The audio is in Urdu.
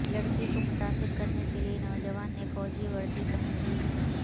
لڑکی کو متاثر کرنے کیلئے نوجوان نے فوجی وردی پہن لی